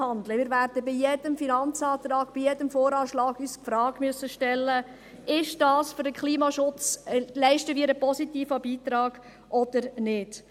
Wir werden bei jedem Finanzantrag, bei jedem VA die Frage stellen müssen, ob wir damit einen positiven Beitrag für den Klimaschutz leisten oder nicht.